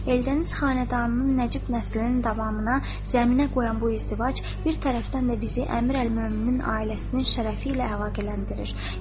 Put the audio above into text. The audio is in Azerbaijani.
Eldəniz xanədanının nəcib nəslinin davamına zəminə qoyan bu izdivac bir tərəfdən də bizi Əmir Əl Möminin ailəsinin şərəfi ilə əlaqələndirir.